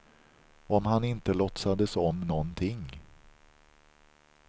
Om han inte låtsades om någonting.